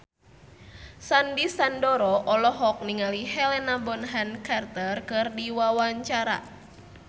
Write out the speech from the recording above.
Sandy Sandoro olohok ningali Helena Bonham Carter keur diwawancara